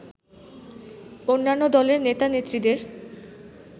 অন্যান্য দলের নেতা-নেত্রীদের